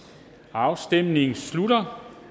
afstemningen slutter